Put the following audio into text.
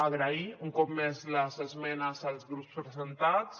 agrair un cop més les esmenes als grups presentats